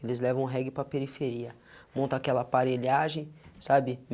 Eles levam um reggae para a periferia, monta aquela aparelhagem, sabe?